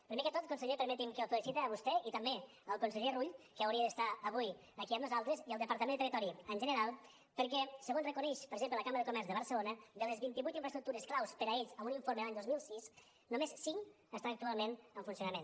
primer que tot conseller permeti’m que el felicite a vostè i també el conseller rull que hauria d’estar avui aquí amb nosaltres i el departament de territori en general perquè segons reconeix per exemple la cambra de comerç de barcelona de les vint i vuit infraestructures clau per a ells en un informe de l’any dos mil sis només cinc estan actualment en funcionament